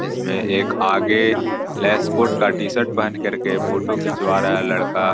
इसमें एक आगे लेस्पोर्ट का टी-शर्ट पहन कर के फोटो खिंचवा रहा है लड़का।